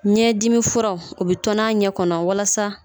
Ɲɛdimifura o bɛ tɔni a ɲɛ kɔnɔ walasa